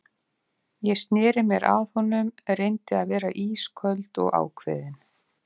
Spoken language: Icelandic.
Ég sneri mér að honum, reyndi að vera ísköld og ákveðin.